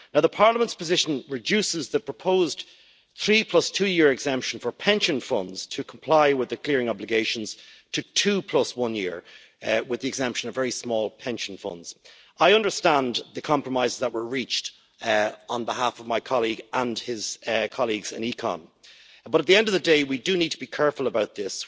Parliament's position reduces the proposed three plus-two-year exemption for pension funds to comply with the clearing obligations to two-plus-one-year exemption, with very small pension funds exempted. I understand the compromises that were reached on behalf of my colleague and his colleagues in ECON, but at the end of the day we do need to be careful about this.